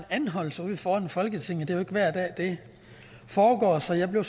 anholdelse ude foran folketinget det jo ikke hver dag det foregår så jeg blev